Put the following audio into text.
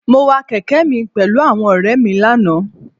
Mo wa kèke mi pèlú àwọn òré è mi lánàá